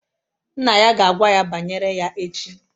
Nna ya ga-agwa ya banyere ya echi